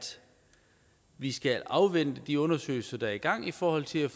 vi skal afvente de undersøgelser der er i gang i forhold til at